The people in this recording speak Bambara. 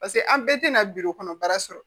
Paseke an bɛɛ tɛna kɔnɔ baara sɔrɔ